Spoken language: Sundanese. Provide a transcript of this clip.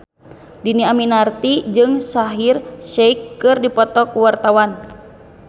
Dhini Aminarti jeung Shaheer Sheikh keur dipoto ku wartawan